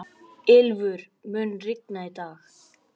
Ylfur, mun rigna í dag?